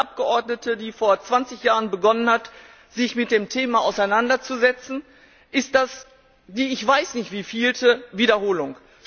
Für mich als Abgeordnete, die vor 20Jahren begonnen hat, sich mit dem Thema auseinanderzusetzen, ist das die ich weiß nicht wievielte Wiederholung.